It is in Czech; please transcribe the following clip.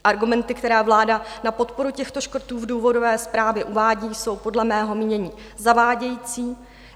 Argumenty, které vláda na podporu těchto škrtů v důvodové zprávě uvádí, jsou podle mého mínění zavádějící.